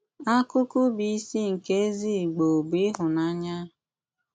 Ákụ̀kụ bụ́ ísí nké ézí Ìgbò bụ́ íhụ́nànyà.